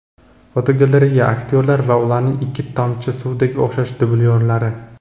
Fotogalereya: Aktyorlar va ularning ikki tomchi suvdek o‘xshash dublyorlari.